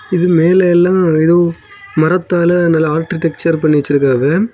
இது மேலெ எல்லா எதோ மரத்தாலெ நல்லா ஆர்டிடெக்சர் பண்ணி வச்சிருக்காவெ.